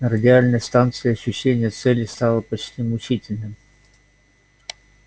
на радиальной станции ощущение цели стало почти мучительным